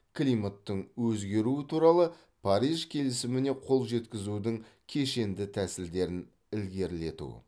климаттың өзгеруі туралы париж келісіміне қол жеткізудің кешенді тәсілдерін ілгерілету